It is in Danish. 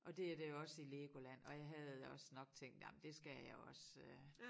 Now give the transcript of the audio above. Og det er der jo også i Legoland og jeg havde også nok tænkt ej men det skal jeg også øh